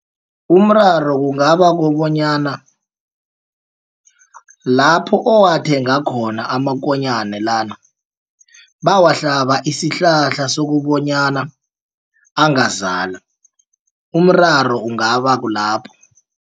Umraro kungabakukobonyana lapho owathenga khona amakonyana lana bawahlaba isihlahla sokobonyana angazala umraro ungaba kulapho.